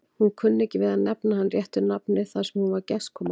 Hún kunni ekki við að nefna hann réttu nafni þar sem hún var gestkomandi.